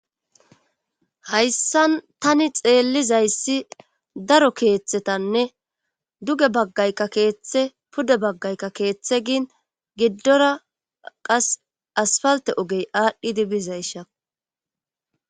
Hayssan tani xeellizayssi daro keeththetanne duge baggaykka keeththe pude baggaykka keeththe gin giddora qas asfalte ogey aadhdhidi bizaysha.